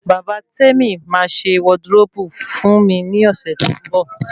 Bàbá Temi máa ṣe wọdiróòbù fún mi ní ọ̀sẹ̀ tó ń bọ̀